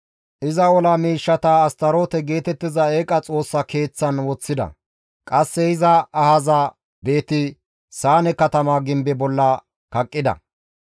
Iza ola miishshata Astaroote geetettiza eeqa xoossa keeththaan woththida; qasse iza ahaza Beeti-Saane katama gimbe bolla kaqqida.